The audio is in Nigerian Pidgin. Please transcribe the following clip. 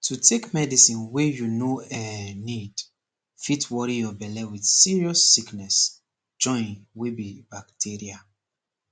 to take medicine wey you no eh need fit worry your belle with serious sickness join wey be bacteria